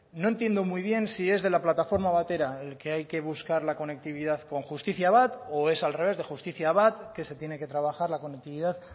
no entiendo muy bien si es de la plataforma batera el que hay que buscar la conectividad con jusitiziabat o es al revés de justiziabat que se tiene que trabajar la conectividad